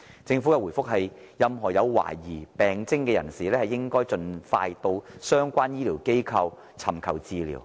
政府在回覆中說任何有懷疑病徵的人士，應盡快到相關醫療機構尋求治療。